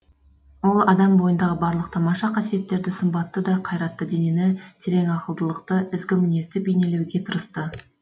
ол адам бойындағы барлық тамаша қасиеттерді сымбатты да қайратты денені терең ақылдылықты ізгі мінезді бейнелеуге тырысты